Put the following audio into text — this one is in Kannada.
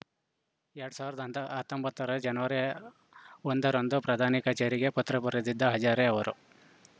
ಎರಡ್ ಸಾವರದ ಅಂತ್ ಹತಂಬತ್ತ ರ ಜನವರಿ ಒಂದ ರಂದು ಪ್ರಧಾನಿ ಕಚೇರಿಗೆ ಪತ್ರ ಬರೆದಿದ್ದ ಹಜಾರೆ ಅವರು